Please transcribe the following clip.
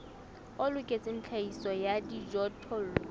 o loketseng tlhahiso ya dijothollo